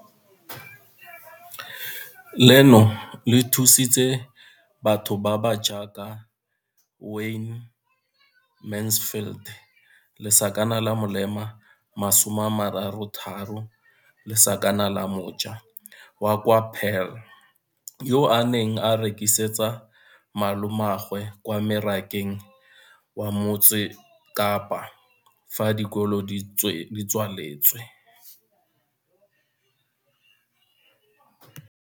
Leno le thusitse batho ba ba jaaka Wayne Mansfield, 33, wa kwa Paarl, yo a neng a rekisetsa malomagwe kwa Marakeng wa Motsekapa fa dikolo di tswaletse, mo nakong ya fa a ne a santse a tsena sekolo, mme ga jaanong o romela diratsuru tsa gagwe kwa dinageng tsa kwa ntle tseo a di lemileng mo polaseng eo ba mo hiriseditseng yona.